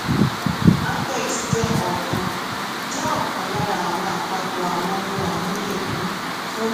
afex jẹ́ ọ̀kan jẹ́ ọ̀kan lára àwọn àpapọ̀ àwọn ohun àmúyẹ um fun